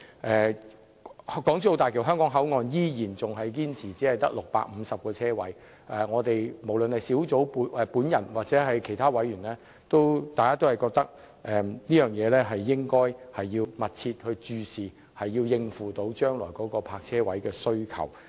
政府依然堅持港珠澳大橋香港口岸只會有650個泊車位，但無論我本人或其他委員均認為應密切注視泊車位的供應，數目必須能應付未來對泊車位的需求。